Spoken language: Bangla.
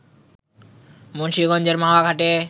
মুন্সীগঞ্জের মাওয়া ঘাটে